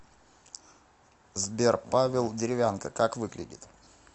сбер павел деревянко как выглядит